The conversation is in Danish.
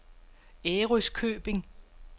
Ærøskøbing